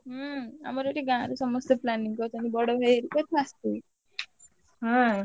ହୁଁ ଆମର ଏଠି ଗାଁରେ ସମସ୍ତେ planning କରିଛନ୍ତି ବଡଭାଇ ହେରିକା ହୁଁ।